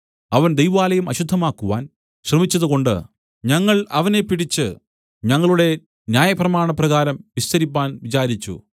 അവൻ ദൈവാലയം അശുദ്ധമാക്കുവാൻ ശ്രമിച്ചതുകൊണ്ട് ഞങ്ങൾ അവനെ പിടിച്ച് ഞങ്ങളുടെ ന്യായപ്രമാണപ്രകാരം വിസ്തരിപ്പാൻ വിചാരിച്ചു